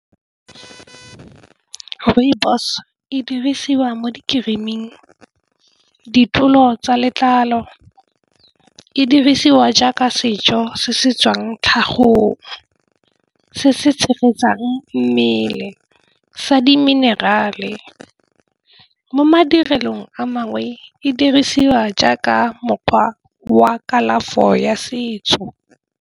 Rooibos e dirisiwa mo di-green-ing tsa letlalo e dirisiwa jaaka sejo se se tswang tlhagong se se tshegetsang mmele sa di-mineral-e mo madirelong a mangwe e dirisiwa jaaka mokgwa wa kalafo ya setso.